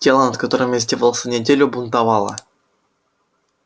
тело над которым я издевался неделю бунтовало